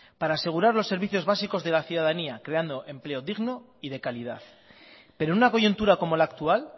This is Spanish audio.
para asegurar los servicios básicos de la ciudadanía creando empleo digno y de calidad pero una coyuntura como la actual